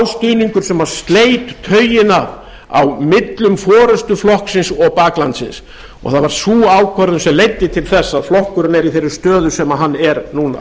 stuðningur sem sleit taugina á millum forustu flokksins og baklandsins og það var sú ákvörðun sem leiddi til þess að flokkurinn er í þeirri stöðu sem hann er núna